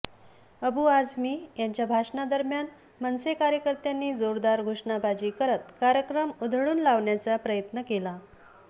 अबू आझमी यांच्या भाषणादरम्यान मनसे कार्यकर्त्यांनी जोरदार घोषणाबाजी करत कार्यक्रम उधळून लावण्याचा प्रयत्न केला